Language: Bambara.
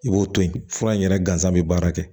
I b'o to yen fura in yɛrɛ gansan bɛ baara kɛ